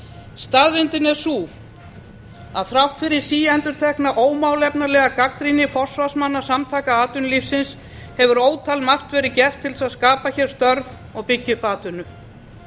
staðreyndin er sú að þrátt fyrir síendurtekna ómálefnalega gagnrýni forsvarsmanna samtaka atvinnulífsins hefur ótal margt verið gert til þess að skapa hér störf og byggja upp atvinnu